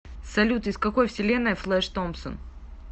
салют из какой вселенной флэш томпсон